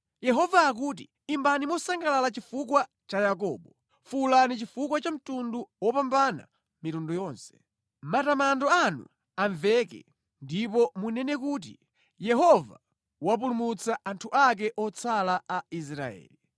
Yehova akuti, “Imbani mosangalala chifukwa cha Yakobo, fuwulani chifukwa cha mtundu wopambana mitundu yonse. Matamando anu amveke, ndipo munene kuti, ‘Yehova wapulumutsa anthu ake otsala a Israeli.’